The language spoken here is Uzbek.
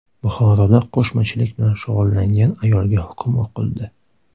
Buxoroda qo‘shmachilik bilan shug‘ullangan ayolga hukm o‘qildi.